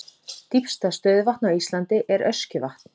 Dýpsta stöðuvatn á Íslandi er Öskjuvatn.